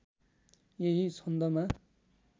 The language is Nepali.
यही छन्दमा